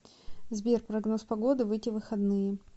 сбер прогноз погоды в эти выходные